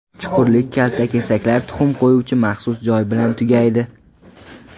Chuqurlik kaltakesaklar tuxum qo‘yuvchi maxsus joy bilan tugaydi.